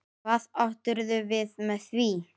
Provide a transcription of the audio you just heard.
Hvað áttirðu við með því?